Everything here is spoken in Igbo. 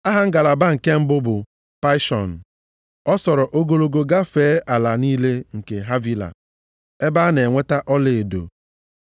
Aha ngalaba nke mbụ bụ Paịshọn. Ọ sọọrọ ogologo gafee ala niile nke Havila, ebe a na-enweta ọlaedo.